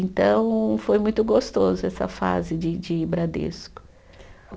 Então, foi muito gostoso essa fase de de Bradesco.